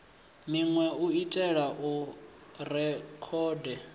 minwe u itela u rekhoda